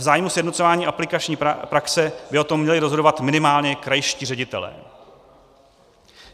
V zájmu sjednocování aplikační praxe by o tom měli rozhodovat minimálně krajští ředitelé.